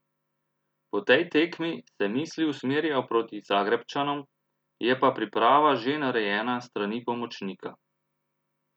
Po tej tekmi se misli usmerijo proti Zagrebčanom, je pa priprava že narejena s strani pomočnika.